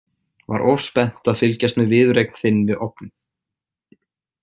Var of spennt að fylgjast með viðureign þinn við ofninn.